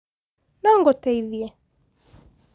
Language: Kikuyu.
nongũteithie?